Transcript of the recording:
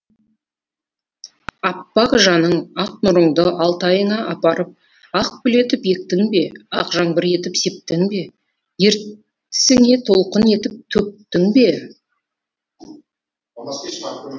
аппақ жаның ақ нұрыңды алтайыңа апарып ақ гүл етіп ектің бе ақ жаңбыр етіп септің бе ертісіңе толқын етіп төктің бе